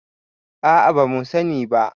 a a. ba mu sani ba